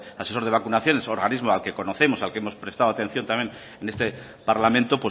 asesor de vacunaciones un organismo al que conocemos al que hemos prestado también en este parlamento